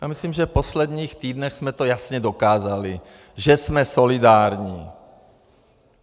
Já myslím, že v posledních týdnech jsme to jasně dokázali, že jsme solidární.